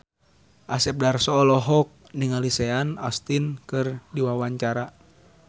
Asep Darso olohok ningali Sean Astin keur diwawancara